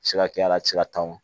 Se ka kɛ a la a ti se ka tan o